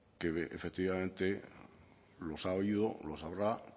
que efectivamente los ha habido los habrá